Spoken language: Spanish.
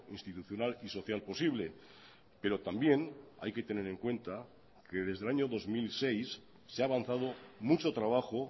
institucional y social posible pero también hay que tener en cuenta que desde el año dos mil seis se ha avanzado mucho trabajo